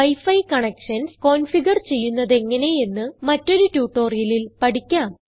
wi fi connections configure ചെയ്യുന്നതെങ്ങനെ എന്ന് മറ്റൊരു ട്യൂട്ടോറിയലിൽ പഠിക്കാം